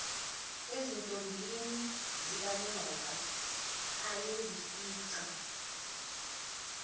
ezintombini zikanyoka ayezifica